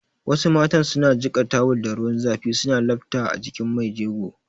Wasu matan su na jiƙa tawul da ruwan zafi su lafta a jikin mai jego